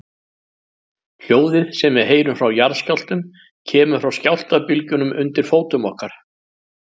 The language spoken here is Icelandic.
Hljóðið sem við heyrum frá jarðskjálftum kemur frá skjálftabylgjunum undir fótum okkar.